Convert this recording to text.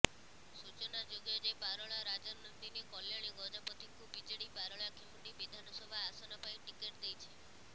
ସୂଚନାଯୋଗ୍ୟ ଯେ ପାରଳା ରାଜନନ୍ଦିନୀ କଲ୍ୟାଣୀ ଗଜପତିଙ୍କୁ ବିଜେଡି ପାରଳାଖେମୁଣ୍ଡି ବିଧାନସଭା ଆସନ ପାଇଁ ଟିକେଟ୍ ଦେଇଛି